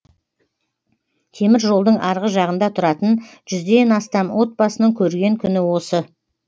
темір жолдың арғы жағында тұратын жүзден астам отбасының көрген күні осы